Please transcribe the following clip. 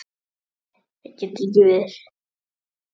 Nei það getur ekki verið.